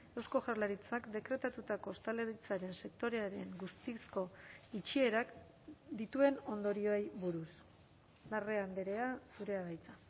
eusko jaurlaritzak dekretatutako ostalaritzaren sektorearen guztizko itxierak dituen ondorioei buruz larrea andrea zurea da hitza